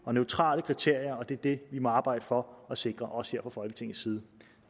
og neutrale kriterier og det er det vi må arbejde for at sikre også her fra folketingets side